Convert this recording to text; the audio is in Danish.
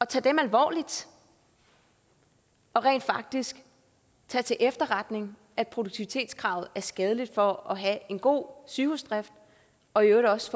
tage dem alvorligt og rent faktisk tage til efterretning at produktivitetskravet er skadeligt for at have en god sygehusdrift og i øvrigt også